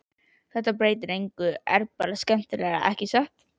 Þetta breytir engu er bara skemmtilegra, ekki satt?